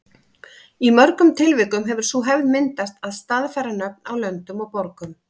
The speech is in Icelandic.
Í mörgum tilvikum hefur sú hefð myndast að staðfæra nöfn á löndum og borgum.